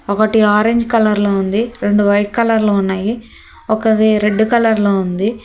ఒకటి orange colour లో ఉంది రెండు వైట్ కలర్ లో ఉన్నాయి ఒకటి రెడ్ కలర్ లో ఉంది.